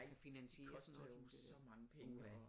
Koster jo så mange penge at